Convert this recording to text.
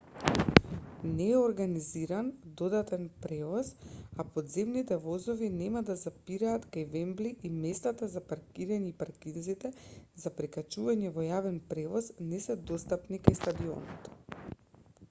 не е организиран додатен превоз а подземните возови нема да запираат кај вембли и местата за паркирање и паркинзите за прекачување во јавен превоз не се достапни кај стадионот